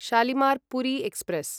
Shalimar Puri express